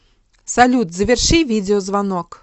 салют заверши видеозвонок